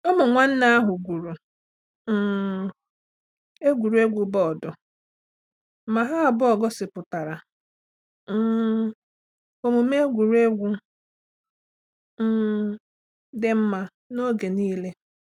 Ụmụ nwanne ahụ gwuru um egwuregwu bọọdụ ma ha abụọ gosipụtara um omume egwuregwu um dị mma n’oge niile.